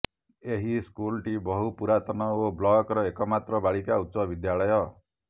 ଏହି ସ୍କୁଲ ଟି ବହୁ ପୁରାତନ ଓ ବ୍ଲକ ର ଏକମାତ୍ର ବାଳିକା ଉଚ୍ଚ ବିଦ୍ୟାଳୟ